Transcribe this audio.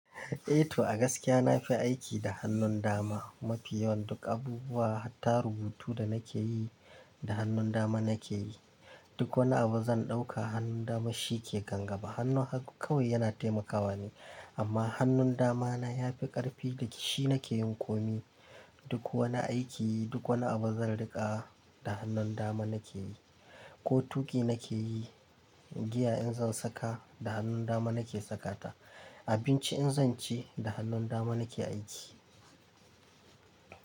Eh to, a gaskiya na fi aiki da hannun dama. Mafiyawan duk abubuwa, hatta rubutu da nake yi, da hannun dama nake yi. Duk wani abu zan ɗauka, hannun dama shi ke kangaba. Hannun hagu kawai yana taimakawa ne, amma hannun dama na ya fi ƙarfi da shi nake yin komi. Duk wani aiki, duk wani abu zan riƙa, da hannun dama nake yi. Ko tuƙi nake yi, giya in zan saka, da hannun dama nake sakata. Abinci in zan ci, da hannun dama nake aiki.